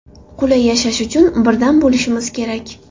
Qulay yashash uchun birdam bo‘lishimiz kerak.